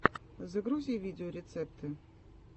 загрузи видеорецепты